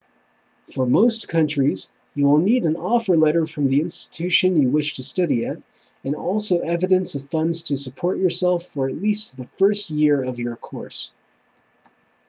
for most countries you will need an offer letter from the institution you wish to study at and also evidence of funds to support yourself for at least the first year of your course